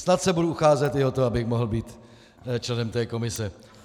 Snad se budu ucházet i o to, abych mohl být členem té komise.